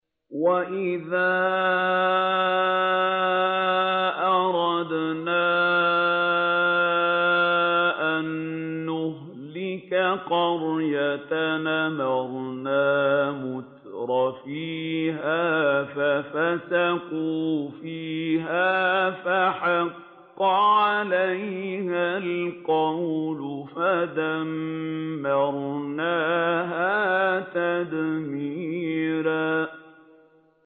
وَإِذَا أَرَدْنَا أَن نُّهْلِكَ قَرْيَةً أَمَرْنَا مُتْرَفِيهَا فَفَسَقُوا فِيهَا فَحَقَّ عَلَيْهَا الْقَوْلُ فَدَمَّرْنَاهَا تَدْمِيرًا